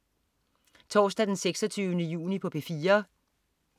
Torsdag den 26. juni - P4: